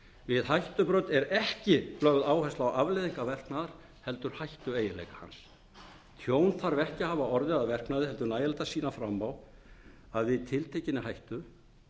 við hættubrot er ekki lögð áhersla á afleiðingar verknaðar heldur hættueiginleika hans tjón þarf ekki að hafa orðið að verknaði heldur nægilegt að sýna fram á að við tiltekinni hættu